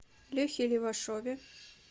лехе левашове